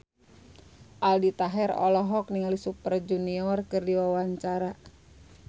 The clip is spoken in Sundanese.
Aldi Taher olohok ningali Super Junior keur diwawancara